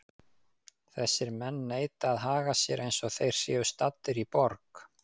Þessir menn neita að haga sér eins og þeir séu staddir í borg.